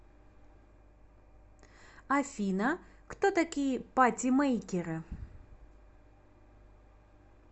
афина кто такие патимейкеры